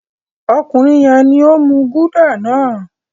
Ọkùnrin yẹn ni ó ń mú Gulder náà.